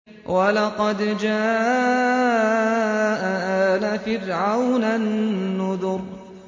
وَلَقَدْ جَاءَ آلَ فِرْعَوْنَ النُّذُرُ